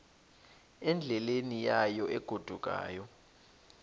endleleni yayo egodukayo